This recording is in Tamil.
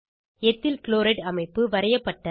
எத்தில் க்ளோரைட் அமைப்பு வரையப்பட்டது